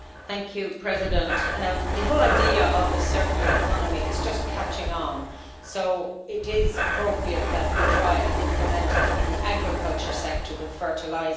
Mr President, the whole idea of the circular economy is just catching on, so it is appropriate that we try and implement it in the agriculture sector with fertilisers.